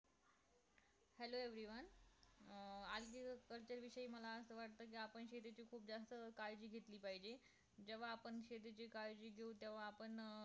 Hello everyone um how are you तस हि म्हणा किंवा आपण शेतीची जास्त काळजी घेतली पाहिजे तेव्हा आपण शेतीची काळजी घेईन तेव्हा आपण